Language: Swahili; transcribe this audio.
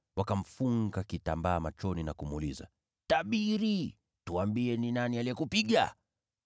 Wakamfunga kitambaa machoni na kumuuliza, “Tabiri! Tuambie ni nani aliyekupiga?”